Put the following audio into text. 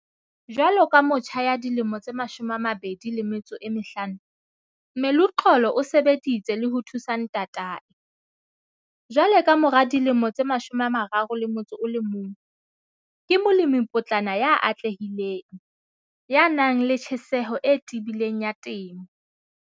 Jwalo ka motjha ya dilemo tse 25, Meluxolo o sebeditse le ho thusa ntatae. Jwale ka mora dilemo tse 31, ke molemipotlana ya atlehileng, ya nang le tjheseho e tebileng ya temo.